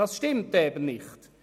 Das ist nicht der Fall!